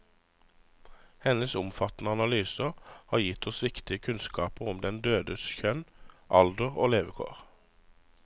Hennes omfattende analyser har gitt oss viktige kunnskaper om den dødes kjønn, alder og levekår.